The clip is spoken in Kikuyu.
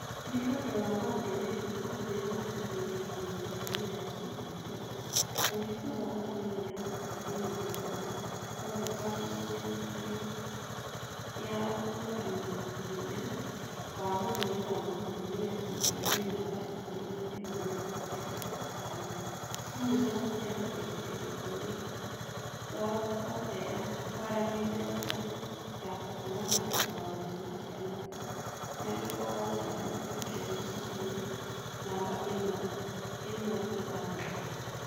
Nĩ ũndũ wa maũndũ megiĩ Ũhinya wa Mũthuri kana Mũtumia (GBV), kũhingũrwo gwa thimũ ya gũteithĩrĩria bũrũri wotheya kwaranĩria na andũ ya kũhũrana na Ũhinya wa Mũthuri kana Mũtumia (GBV) namba ikũmi na ĩmwe mĩrongo kenda na ĩtano. Hamwe na thimũ ya gũteithĩrĩria bũrũri wotheya kwaranĩria na andũ ya kũhũrana maũndũ ma ciana kũnyarirwo gwa ciana (ChildLine Kenya) namba ĩmwe ĩmwe ithathatũ.